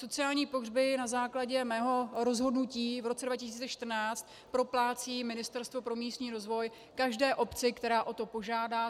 Sociální pohřby na základě mého rozhodnutí v roce 2014 proplácí Ministerstvo pro místní rozvoj každé obci, která o to požádá.